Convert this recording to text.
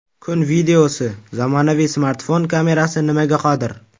Kun videosi: Zamonaviy smartfon kamerasi nimaga qodir?.